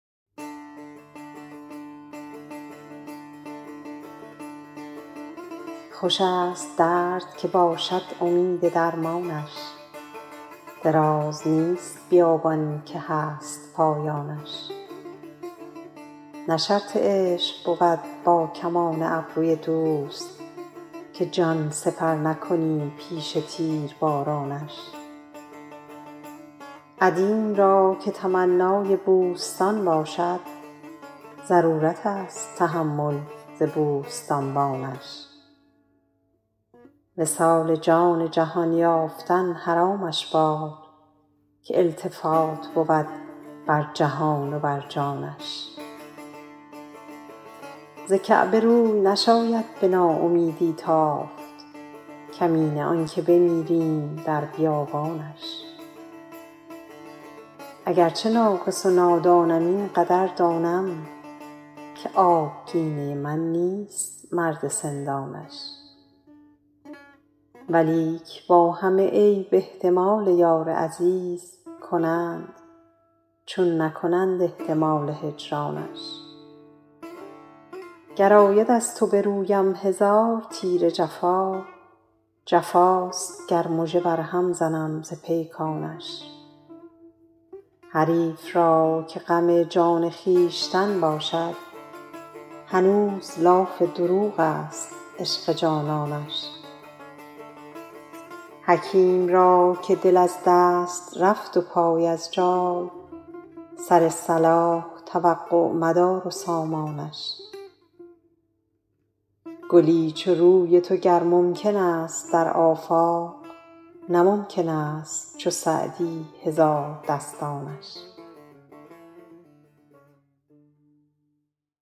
خوش است درد که باشد امید درمانش دراز نیست بیابان که هست پایانش نه شرط عشق بود با کمان ابروی دوست که جان سپر نکنی پیش تیربارانش عدیم را که تمنای بوستان باشد ضرورت است تحمل ز بوستانبانش وصال جان جهان یافتن حرامش باد که التفات بود بر جهان و بر جانش ز کعبه روی نشاید به ناامیدی تافت کمینه آن که بمیریم در بیابانش اگر چه ناقص و نادانم این قدر دانم که آبگینه من نیست مرد سندانش ولیک با همه عیب احتمال یار عزیز کنند چون نکنند احتمال هجرانش گر آید از تو به رویم هزار تیر جفا جفاست گر مژه بر هم زنم ز پیکانش حریف را که غم جان خویشتن باشد هنوز لاف دروغ است عشق جانانش حکیم را که دل از دست رفت و پای از جای سر صلاح توقع مدار و سامانش گلی چو روی تو گر ممکن است در آفاق نه ممکن است چو سعدی هزاردستانش